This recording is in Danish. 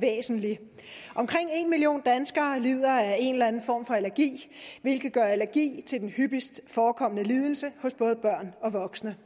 væsentlig omkring en million danskere lider af en eller anden form for allergi hvilket gør allergi til den hyppigst forekommende lidelse hos både børn og voksne